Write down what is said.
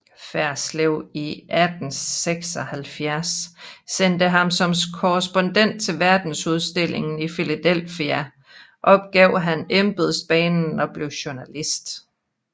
Ferslew i 1876 sendte ham som korrespondent til verdensudstillingen i Philadelphia opgav han embedsbanen og blev journalist